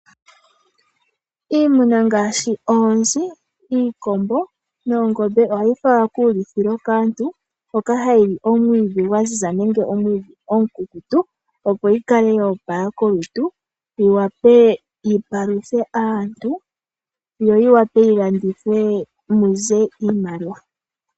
Iimuna ngaashi oonzi, iikombo noongombe ohayi falwa kuulithilo kaantu hoka hayi li omwiidhi gwa ziza nenge omwiidhi omukukutu opo yikale yoopala kolutu yi wape yi paluthe aantu yo yi wape yi landithwe muze iimaliwa.